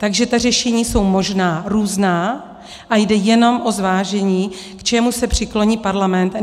Takže ta řešení jsou možná různá a jde jenom o zvážení, k čemu se přikloní Parlament.